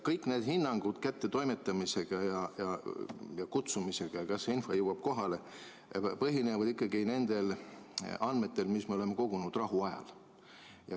Kõik need hinnangud kättetoimetamise ja kutsumise kohta, et kas see info jõuab kohale, põhinevad ikkagi nendel andmetel, mis me oleme kogunud rahuajal.